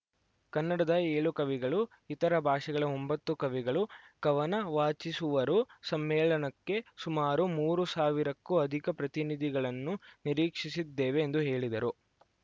ಕನ್ನಡದ ಎಳು ಕವಿಗಳು ಇತರೆ ಭಾಷೆಗಳ ಒಂಬತ್ತು ಕವಿಗಳು ಕವನ ವಾಚಿಸುವರು ಸಮ್ಮೇಳನಕ್ಕೆ ಸುಮಾರು ಮೂರು ಸಾವಿರಕ್ಕೂ ಅಧಿಕ ಪ್ರತಿನಿಧಿಗಳನ್ನು ನಿರೀಕ್ಷಿಸಿದ್ದೇವೆ ಎಂದು ಹೇಳಿದರು